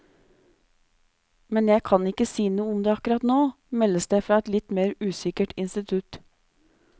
Men jeg kan ikke si noe om det akkurat nå, meldes det fra et litt mer usikkert institutt.